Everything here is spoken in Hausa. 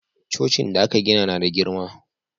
Cocin da aka gina na da girma